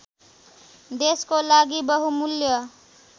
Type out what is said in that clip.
देशको लागि बहुमूल्य